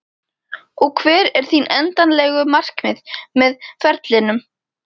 Og hver eru þín endanlegu markmið með ferlinum?